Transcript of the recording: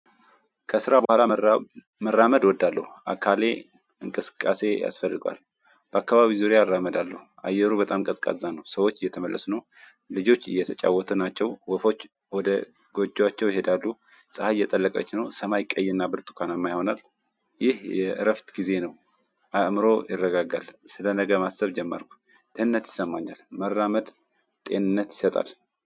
ከስራ በኋላ መራመድ እወዳለሁ። አካሌ እንቅስቃሴ ያስፈልገዋል። በአካባቢው ዙሪያ አራመድ አየሩ በጣም ቀዝቃዛ ነው። ሰዎች እየተመለሱ ነው። ልጆች እየተጫወቱ ናቸው። ወፎች ወደ ጎጆአቸው ይሄዳሉ። ፀሀይ እየጠለቀች ነው። ሰማይ ቀይና ብርቱካናማ ይሆናል። ይህ የእረፍት ጊዜ ነው። አእምሮ ይረጋጋል ስለነገ ማሰብ ጀመርኩ። ጤንነት ይሰማኛል መራመድ ጤንነት ይሰጣል።